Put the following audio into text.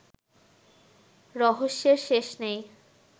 রহস্যের শেষ নেই